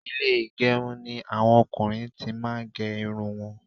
Ilé ìgẹrun ni àwọn ọkùnrin ti máa ń gé irun wọn